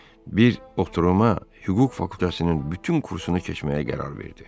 Bir oturuma Hüquq fakültəsinin bütün kursunu keçməyə qərar verdi.